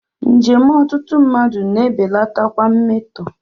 Njem ọtụtụ mmadụ na-ebelatakwa mmetọ.